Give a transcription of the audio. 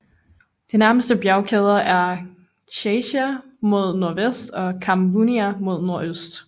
De nærmeste bjergkæder er Chasia mod nordvest og Kamvounia mod nordøst